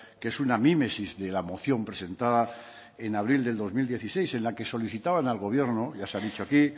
que es una mímesis de la moción presentada en abril del dos mil dieciséis en la que solicitaban al gobierno ya se ha dicho aquí